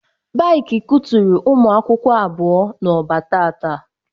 Baiki kuturu ụmụ akwụkwọ abụọ n'Oba tata